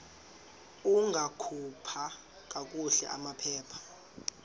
ungakhupha kakuhle amaphepha